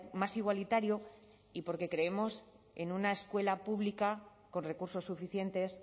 más igualitario y porque creemos en una escuela pública con recursos suficientes